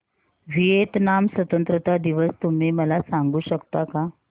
Vietnam स्वतंत्रता दिवस तुम्ही मला सांगू शकता का